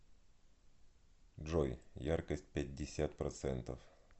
джой яркость пятьдесят процентов